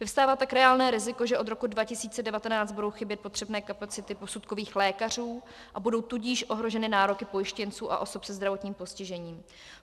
Vyvstává tak reálné riziko, že od roku 2019 budou chybět potřebné kapacity posudkových lékařů, a budou tudíž ohroženy nároky pojištěnců a osob se zdravotním postižením.